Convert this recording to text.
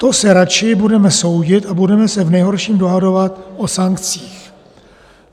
To se radši budeme soudit a budeme se v nejhorším dohadovat o sankcích.